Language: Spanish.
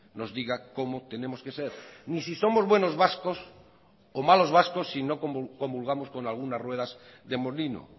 nos diga cómo tenemos que ser ni si somos buenos vascos o malos vascos si no comulgamos con algunas ruedas de molino